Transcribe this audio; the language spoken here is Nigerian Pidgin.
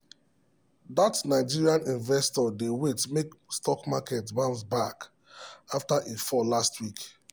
that nigerian investor dey wait make stock market bounce back after e fall last week.